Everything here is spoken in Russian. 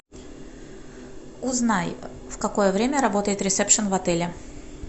узнай в какое время работает ресепшен в отеле